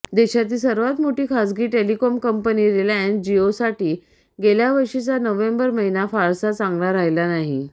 देशातील सर्वात मोठी खासगी टेलिकॉम कंपनी रिलायन्स जिओसाठी गेल्यावर्षीचा नोव्हेंबर महिना फारसचा चांगला राहिला नाही